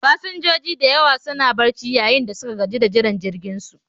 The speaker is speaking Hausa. Fasinjoji da yawa suna barci, yayin da suka gaji da jiran jirginsu